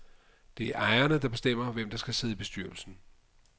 Det er ejerne, der bestemmer, hvem der skal sidde i bestyrelsen.